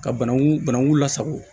Ka bananku banagun lasago